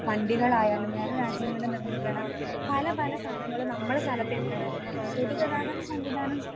വണ്ടികളായാലും വേറെ രാജ്യങ്ങൾ നിര്മിക്കണ പലപല സാധനങ്ങളും നമ്മളെ സ്ഥലത്തു എത്തുന്നത്. പൊതുഗതാഗത സംവിധാനം